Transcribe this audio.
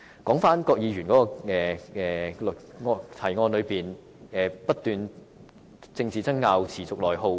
郭議員在議案提到"因政治爭拗而持續內耗"。